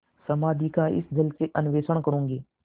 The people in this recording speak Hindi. समाधि का इस जल से अन्वेषण करूँगी